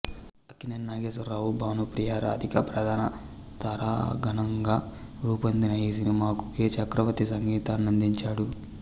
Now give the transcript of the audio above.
అక్కినేని నాగేశ్వరరావు భానుప్రియ రాధిక ప్రధాన తారాగణంగా రూపొందిన ఈ సినిమాకు కె చక్రవర్తి సంగీతాన్నందించాడు